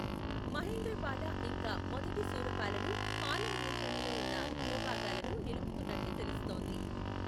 మహేంద్రపాల ఇంకా మొదటి శూరపాలలు పాలా నియంత్రణలో ఉన్న భూభాగాలను నిలుపుకున్నట్లు తెలుస్తోంది.